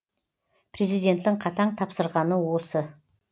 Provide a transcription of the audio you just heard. президенттің қатаң тапсырғаны осы